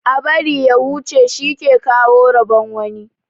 Ã bari ya huche shi ke kawo rabon wani.